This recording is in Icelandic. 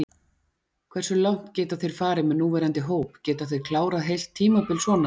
Hversu langt geta þeir farið með núverandi hóp, geta þeir klárað heilt tímabil svona?